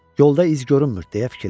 Yolda iz görünmür, - deyə fikirləşdi.